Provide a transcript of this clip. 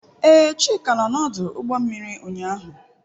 Ee, Chika nọ n'ọdụ ụgbọ mmiri ụnyaahụ.